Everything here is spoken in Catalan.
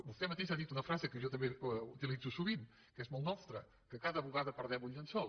vostè mateix ha dit una frase que jo també utilitzo sovint que és molt nostra que a cada bugada perdem un llençol